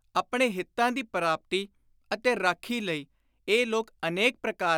ਆਪਣੇ ਹਿਤਾਂ ਦੀ ਪ੍ਰਾਪਤੀ ਅਤੇ ਰਾਖੀ ਲਈ ਇਹ ਲੋਕ ਅਨੇਕ ਪ੍ਰਕਾਰ